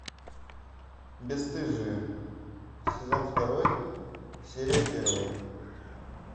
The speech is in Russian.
бесстыжие сезон второй серия первая